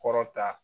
Kɔrɔ ta